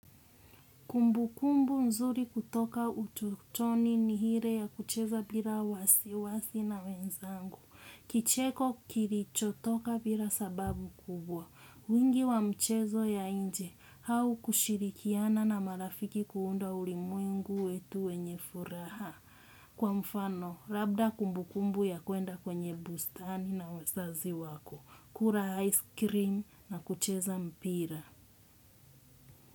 Kumbukumbu nzuri kutoka utotoni ni ile ya kucheza mpira wasiwasi na wenzangu. Kicheko kilichotoka bila sababu kubwa. Wingi wa mchezo ya nje au kushirikiana na marafiki kuunda ulimwengu wetu wenye furaha. Kwa mfano, labda kumbukumbu ya kuenda kwenye bustani na uzazi wako. Kula ice cream na kucheza mpira.